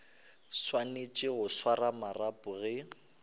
swanetše go swara marapo ge